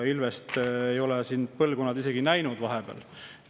Ilvest ei ole siin põlvkonnad vahepeal isegi näinud.